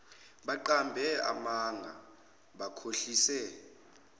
baqambe amanga bakhohlise